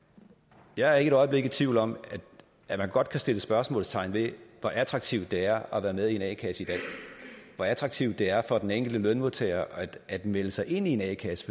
jeg er ikke et øjeblik i tvivl om at man godt kan sætte spørgsmålstegn ved hvor attraktivt det er at være med i en a kasse i dag og hvor attraktivt det er for den enkelte lønmodtager at melde sig ind i en a kasse